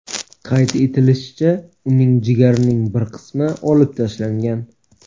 Qayd etilishicha, uning jigarining bir qismi olib tashlangan.